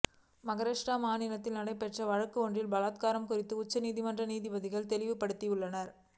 மகாராஷ்டிரா மாநிலத்தில் நடைபெற்ற வழக்கு ஒன்றில் பலாத்காரம் குறித்து உச்சநீதிமன்ற நீதிபதிகள் தெளிவுபடுத்தியுள்ளனர்